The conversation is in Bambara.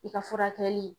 I ka furakɛli